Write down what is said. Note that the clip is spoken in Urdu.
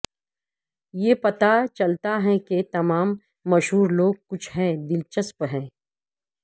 یہ پتہ چلتا ہے کہ تمام مشہور لوگ کچھ ہیں دلچسپ ہے